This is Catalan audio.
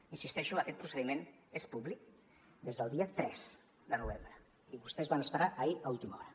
hi insisteixo aquest procediment és públic des del dia tres de novembre i vostès van esperar fins ahir a última hora